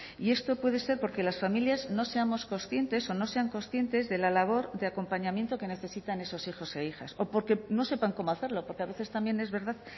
y esto puede ser porque las familias no seamos conscientes o no sean conscientes de la labor de acompañamiento que necesitan esos hijos e hijas o porque no sepan cómo hacerlo porque a veces también es verdad